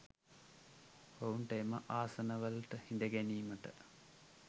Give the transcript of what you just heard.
ඔවුන්ට එම ආසනවල හිඳගැනීමට